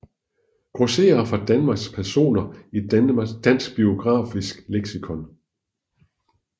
Grosserere fra Danmark Personer i Dansk Biografisk Leksikon